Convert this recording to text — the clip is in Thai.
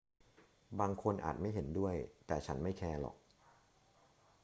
บางคนอาจไม่เห็นด้วย แต่ฉันไม่แคร์หรอก